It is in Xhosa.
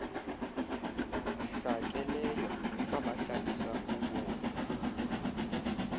hlakeleyo babahlalisa ubomi